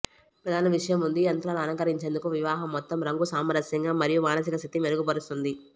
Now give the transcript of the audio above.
ప్రధాన విషయం ఉంది యంత్రాలు అలంకరించేందుకు వివాహ మొత్తం రంగు సామరస్యంగా మరియు మానసిక స్థితి మెరుగుపరుస్తుంది